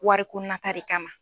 Wariko nata de kama